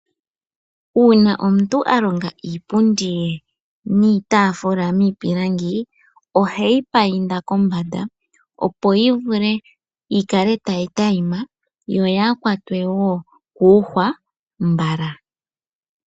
Uuna omuntu a komga iipundi ye niitaafula miipilangi, ohe yi painda kombanda opo yi vule yi kale tayi tayima. Yo yaa kwatwe wo kuuhwa mbala.